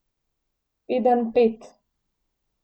Pedenjped.